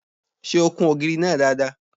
Ṣé o kun ògiri náà dáadáa?